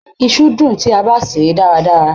Iṣu dùn tí a bá se e dáradára.